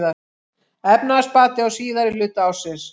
Efnahagsbati á síðari hluta ársins